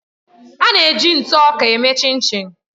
A na-eji ntụ ọka eme Chinchin.